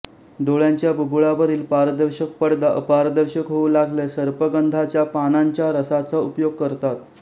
डोळ्यांच्या बुबुळावरील पारदर्शक पडदा अपारदर्शक होऊ लागल्यास सर्पगंधाच्या पानांच्या रसाचा उपाय करतात